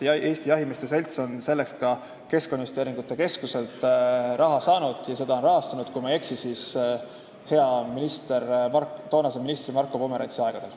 Eesti Jahimeeste Selts on selleks ka Keskkonnainvesteeringute Keskuselt raha saanud ja seda rahastati, kui ma ei eksi, siis toonase hea ministri Marko Pomerantsi aegadel.